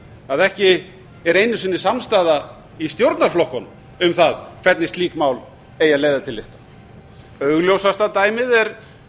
að ekki er einu sinni samstaða í stjórnarflokkunum um það hvernig slík mál eigi að leiða til lykta augljósasta dæmið er